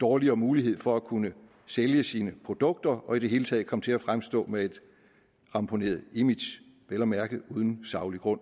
dårligere mulighed for at kunne sælge sine produkter og i det hele taget komme til at fremstå med et ramponeret image vel at mærke uden saglig grund